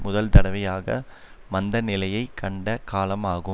முதல்தடவையாக மந்த நிலையை கண்ட காலம் ஆகும்